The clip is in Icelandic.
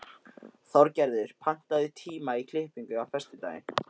Þorgerður, pantaðu tíma í klippingu á föstudaginn.